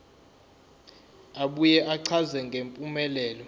abuye achaze ngempumelelo